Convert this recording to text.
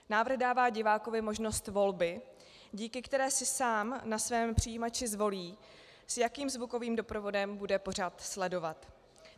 Návrh dává divákovi možnost volby, díky které si sám na svém přijímači zvolí, s jakým zvukovým doprovodem bude pořad sledovat.